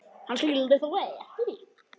Hann skyldi þó ekki.